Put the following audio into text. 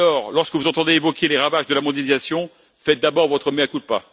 Aussi, lorsque vous entendez évoquer les ravages de la mondialisation, faites d'abord votre mea culpa.